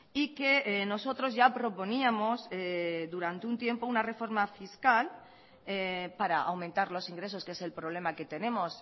y que nosotros ya proponíamos durante un tiempo una reforma fiscal para aumentar los ingresos que es el problema que tenemos